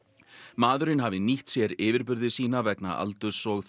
maðurinn hafi nýtt sér yfirburði sína vegna aldurs og